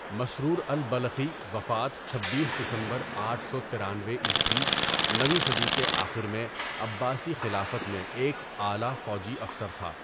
مسرور البلخی؛ وفات چھبیس دسمبر آٹھ سو ترانوے ء نویں صدی کے آخر میں عباسی خلافت میں ایک اعلیٰ فوجی افسر تھا.